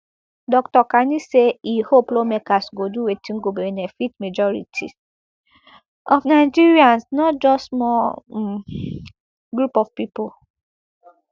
dr kani say e hope lawmakers go do wetin go benefit majority of nigerians not just small um group of pipo